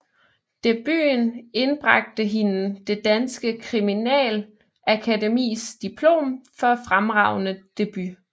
Debuten indbragte hende Det Danske Kriminalakademis diplom for fremragende debut